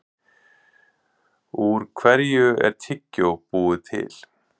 Úr hverju er tyggjó búið til?